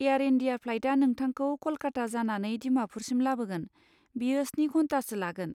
Air India फ्लाइटआ नोंथांखौ क'लकाता जानानै दिमाफुरसिम लाबोगोन, बेयो स्नि घन्टासो लागोन।